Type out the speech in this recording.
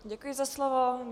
Děkuji za slovo.